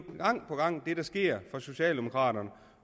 gang på gang det der sker fra socialdemokraternes